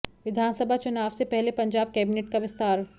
विधानसभा चुनाव से पहले पंजाब कैबिनेट का विस्तार